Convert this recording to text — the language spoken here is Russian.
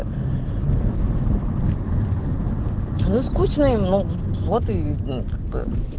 скучно им ну вот и как бы